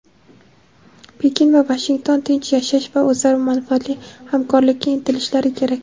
Pekin va Vashington tinch yashash va o‘zaro manfaatli hamkorlikka intilishlari kerak.